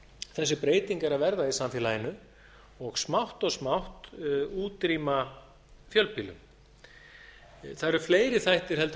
þessi breyting er að verða í samfélaginu og smátt og smátt útrýma fjölbýlum það eru fleiri þættir en